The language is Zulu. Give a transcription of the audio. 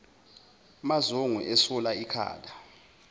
mazungu esula ikhala